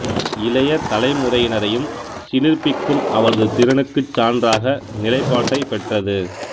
இளைய தலைமுறையினரையும் சிலிர்ப்பிக்கும் அவரது திறனுக்கு சான்றாக நிலைப்பாட்டைப் பெற்றது